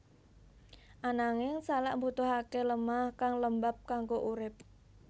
Ananging salak mbutuhaké lemah kang lembab kanggo urip